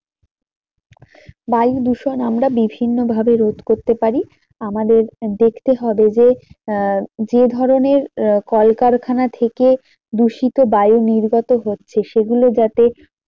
বায়ু দূষণ আমরা বিভিন্ন ভাবে রোধ করতে পারি আমাদের দেখতে হবে যে আহ যে ধরণের আহ কলকারখানা থেকে দূষিত বায়ু নির্গত হচ্ছে সেগুলো যাতে